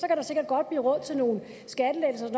kan der sikkert godt blive råd til nogle skattelettelser